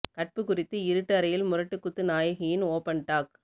கற்பு குறித்து இருட்டு அறையில் முரட்டு குத்து நாயகியின் ஓபன் டாக்